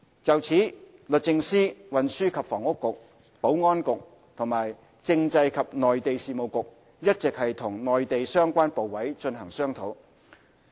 就此，律政司、運輸及房屋局、保安局和政制及內地事務局一直與內地相關部委進行商討。